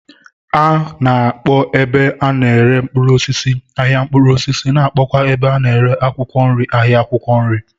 A na-akpọ ebe a na-ere mkpụrụosisi "ahịa mkpụrụosisi ' na akpọkwa ebe a na-ere akwụkwọ nri 'ahịa akwụkwọ nri '.